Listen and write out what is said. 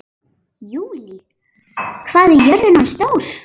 Júlí, hvað er jörðin stór?